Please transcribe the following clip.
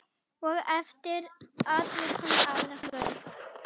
Og eftir atvikum aðra fingur.